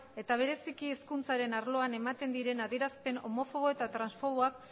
eta bereziki hezkuntzaren arloan ematen diren adierazpen homofobo eta transfoboak